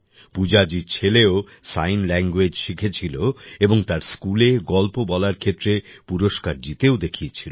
পূজাজির ছেলেও sign language শিখেছিল এবং তার স্কুলে গল্প বলার ক্ষেত্রে পুরস্কার জিতেও দেখিয়েছিল